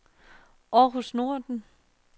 Århus Nordre